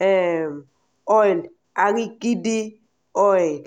um oil “arachide oil.”